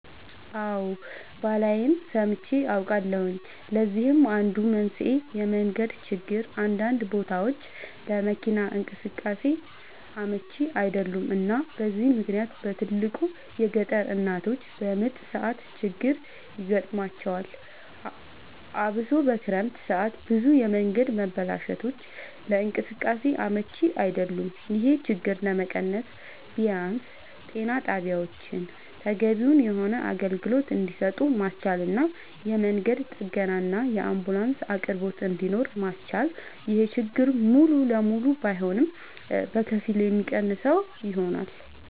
አወ ባላይም ሰምቼ አውቃለሁኝ ለዚህም አንዱ መንስኤ የመንገድ ችግር አንዳንድ ቦታወች ለመኪና እንቅስቃሴ አመች አይደሉም እና በዚህ ምክንያት በትልቁ የገጠር እናቶች በምጥ ሰዓት ችግር ይገጥማቸዋል አብሶ በክረምት ሰዓት ብዙ የመንገድ መበላሸቶች ለእንቅስቃሴ አመች አይደሉም ይሄን ችግር ለመቀነስ ቢያንስ ጤና ጣቢያወችን ተገቢውን የሆነ አገልግሎት እንድሰጡ ማስቻልና የመንገድ ጥገናና የአንቡላንስ አቅርቦት እንድኖር ማስቻል ይሄን ችግር ሙሉ ለሙሉ ባይሆንም በከፊል የሚቀንሰው ይሆናል